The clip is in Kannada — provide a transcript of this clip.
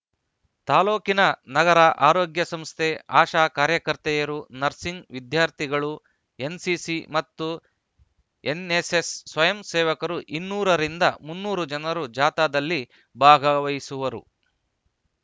ತಾಲೂಕಿನ ನಗರ ಆರೋಗ್ಯ ಸಂಸ್ಥೆ ಆಶಾ ಕಾರ್ಯಕರ್ತೆಯರು ನರ್ಸಿಂಗ್‌ ವಿದ್ಯಾರ್ಥಿಗಳು ಎನ್‌ಸಿಸಿ ಮತ್ತು ಎನ್ನೆಸ್ಸೆಸ್‌ ಸ್ವಯಂ ಸೇವಕರು ಇನ್ನೂರ ರಿಂದ ಮುನ್ನೂರು ಜನರು ಜಾಥಾದಲ್ಲಿ ಭಾಗವಹಿಸುವರು